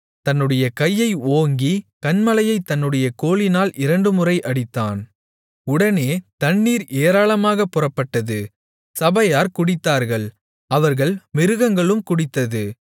தன்னுடைய கையை ஓங்கி கன்மலையைத் தன்னுடைய கோலினால் இரண்டுமுறை அடித்தான் உடனே தண்ணீர் ஏராளமாகப் புறப்பட்டது சபையார் குடித்தார்கள் அவர்கள் மிருகங்களும் குடித்தது